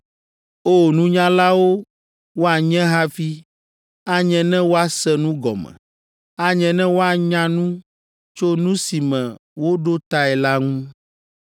O! Nunyalawo woanye hafi anye ne woase nu gɔme; anye ne woanya nu tso nu si me woɖo tae la ŋu!